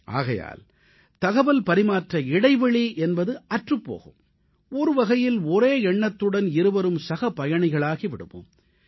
ஆகையால் தகவல்பரிமாற்ற இடைவெளி என்பது அற்றுப் போகும் ஒரு வகையில் ஒரே எண்ணத்துடன் இருவரும் சகபயணிகளாகி விடுவோம்